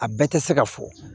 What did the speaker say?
A bɛɛ tɛ se ka fɔ